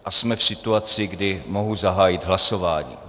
A jsme v situaci, kdy mohu zahájit hlasování.